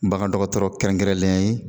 Bagan dɔgɔtɔrɔ kɛrɛnkɛrɛnlɛn ye